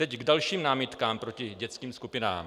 Teď k dalším námitkám proti dětským skupinám.